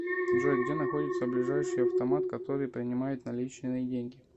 джой где находится ближайший автомат который принимает наличные деньги